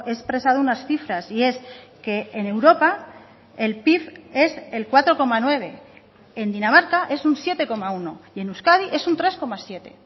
he expresado unas cifras y es que en europa el pib es el cuatro coma nueve en dinamarca es un siete coma uno y en euskadi es un tres coma siete